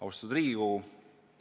Austatud Riigikogu!